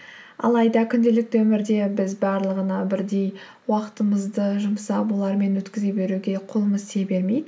алайда күнделікті өмірде біз барлығына бірдей уақытымызды жұмсап олармен өткізе беруге қолымыз тие бермейді